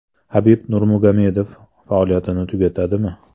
Habib Nurmagomedov faoliyatini tugatadimi?